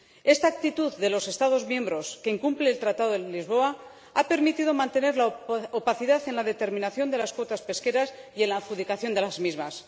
Esta actitud de los Estados miembros, que incumple el Tratado de Lisboa, ha permitido mantener la opacidad en la determinación de las cuotas pesqueras y en la adjudicación de las mismas.